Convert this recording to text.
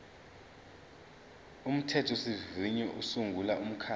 umthethosivivinyo usungula umkhandlu